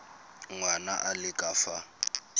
ngwana a le ka fa